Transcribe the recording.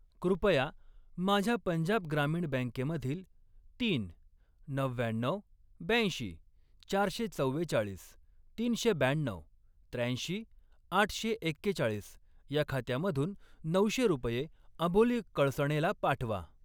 कृपया माझ्या पंजाब ग्रामीण बँकेमधील तीन, नव्व्याण्णऊ, ब्याऐंशी, चारशे चव्वेचाळीस, तीनशे ब्याण्णऊ, त्र्याऐंशी, आठशे एक्केचाळीस या खात्यामधून नऊशे रुपये अबोली कळसणेला पाठवा.